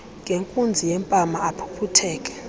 ngenkunzi yempama aphuphutheke